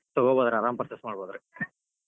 ತೊಗೋಬೋದ್ರಿ ಆರಾಮ್ purchase ಮಾಡಬೋದ್ರಿ.